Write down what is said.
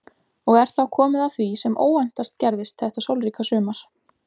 Og er þá komið að því sem óvæntast gerðist þetta sólríka sumar.